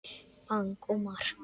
Bang og mark!